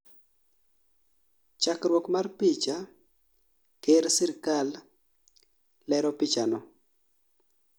chakruok mar picha , KER.SIRKAL. Lero pichano